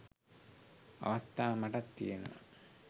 අවස්ථා මටත් තියනවා.